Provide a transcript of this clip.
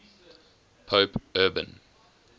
pope urban